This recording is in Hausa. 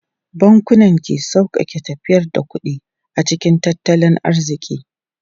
Bankunan ke sauƙaƙe tafiyar da kuɗi a cikin tattalin arziki.